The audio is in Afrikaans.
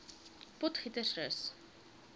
potgietersrus